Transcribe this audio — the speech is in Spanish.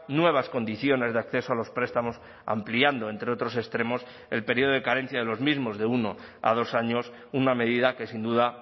nuevas condiciones de acceso a los prestamos ampliando entre otros extremos el periodo de carencia de los mismos de uno a dos años una medida que sin duda